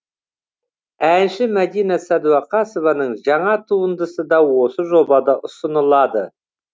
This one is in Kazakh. әнші мәдина сәдуақасованың жаңа туындысы да осы жобада ұсынылады